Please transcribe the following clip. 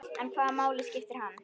En hvaða máli skiptir hann?